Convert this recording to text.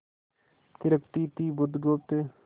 थिरकती थी बुधगुप्त